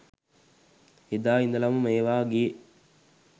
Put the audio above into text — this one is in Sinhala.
එදා ඉදලම මේවා ගියේ